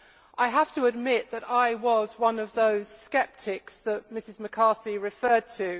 I have to admit that I was one of those sceptics that Mrs McCarthy referred to.